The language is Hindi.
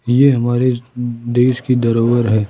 ये हमारे देश की धरोहर है।